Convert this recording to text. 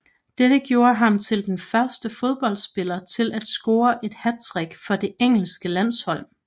Dette gjorde ham til den første fodboldspiller til at score et hattrick for det engelske landshold